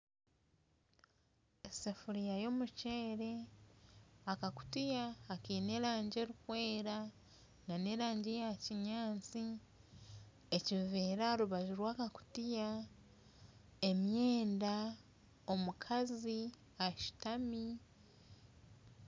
Esefuriya y'omuceere akakutiya akaine erangi erikwera n'erangi eya kinyaasi ekiveera aha rubaju rw'akakutiya emyenda omukazi ashutami.